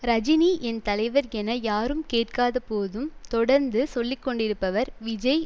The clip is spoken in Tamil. ரஜினி என் தலைவர் என யாரும் கேட்காத போதும் தொடர்ந்து சொல்லி கொண்டிருப்பவர் விஜய்